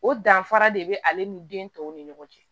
O danfara de be ale ni den tɔw ni ɲɔgɔn cɛ